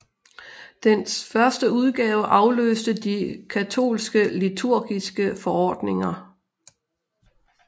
Dens første udgave afløste de katolske liturgiske forordninger